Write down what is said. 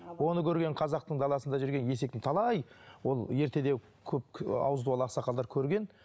оны көрген қазақтың даласында жүрген есектің талай ол ерте де көп ы ауызы дуалы ақсақалдар көрген